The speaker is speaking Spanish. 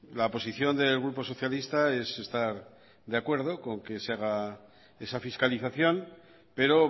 la posición del grupo socialista es estar de acuerdo con que se haga esa fiscalización pero